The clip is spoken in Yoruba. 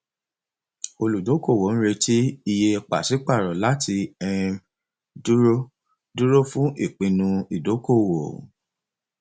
olùdókòwò ń retí iye pàṣípàrọ láti um dúró dúró fún ìpinnu ìdókòwò